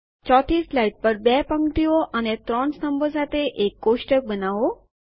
4 થી સ્લાઇડ પર 2 પંક્તિઓ અને ત્રણ સ્તંભો સાથે એક ટેબલ બનાવો